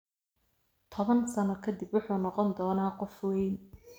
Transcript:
Toban sano ka dib wuxuu noqon doonaa qof weyn